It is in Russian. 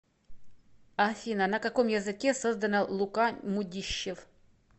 афина на каком языке создано лука мудищев